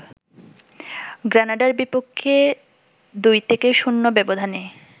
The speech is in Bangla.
গ্রানাডার বিপক্ষে ২-০ ব্যবধানে